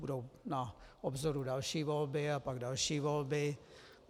Budou na obzoru další volby a pak další volby.